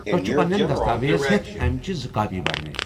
تۄہہ چھِ پننٮ۪ن دستاویزہیتھ امِچہِ زٕ کاپی برنہِ۔